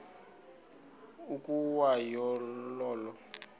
ukwa yo olo